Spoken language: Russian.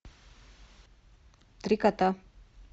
три кота